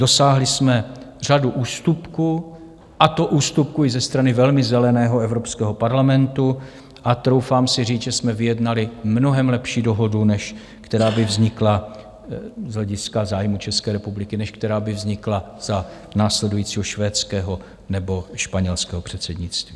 Dosáhli jsme řady ústupků, a to ústupků i ze strany velmi zeleného Evropského parlamentu, a troufám si říct, že jsme vyjednali mnohem lepší dohodu, než která by vznikla - z hlediska zájmů České republiky - než která by vznikla za následujícího švédského nebo španělského předsednictví.